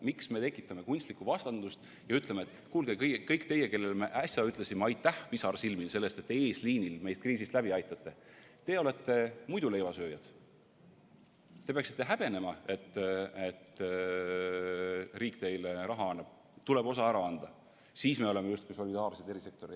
Miks me tekitame kunstlikku vastandust ja ütleme, et kuulge, kõik teie, kellele me äsja ütlesime pisarsilmil aitäh selle eest, et te eesliinil olles meid kriisist läbi aitate, olete muiduleivasööjad, te peaksite häbenema, et riik teile raha annab, teil tuleb osa ära anda, siis me oleme justkui solidaarsed erasektoriga?